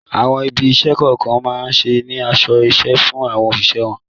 Àwọn ibi-iṣẹ́ kọ̀ọ̀kan máa ń ní aṣọ-iṣẹ́ fún àwọn òṣìṣẹ́ wọn.